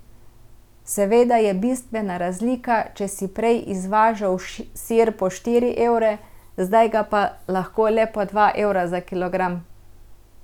Seveda je bistvena razlika, če si prej izvažal sir po štiri evre, zdaj ga pa lahko le po dva evra za kilogram.